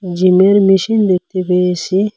জিমের মেশিন দেখতে পেয়েসি ।